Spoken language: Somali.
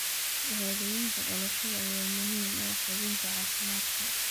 Shahaadooyinka dhalashada ayaa muhiim u ah hubinta caafimaadka.